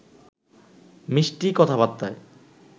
মিষ্টি কথাবার্তায়